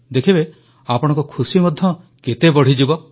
ଦେଖିବେ ଆପଣଙ୍କ ଖୁସି ମଧ୍ୟ କେତେ ବଢ଼ିଯିବ